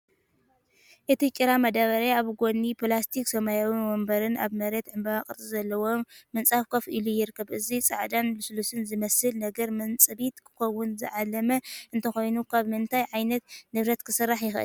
እቲ ጭራ መዳበርያ ኣብ ጎኒ ፕላስቲክ ሰማያዊ መንበርን ኣብ መሬት ዕምባባ ቅርጺ ዘለዎ ምንጻፍን ኮፍ ኢሉ ይርከብ። እዚ ጻዕዳን ልስሉስን ዝመስል ነገር መንጽቢት ክኸውን ዝዓለመ እንተኾይኑ፡ ካብ ምንታይ ዓይነት ንብረት ክስራሕ ይኽእል?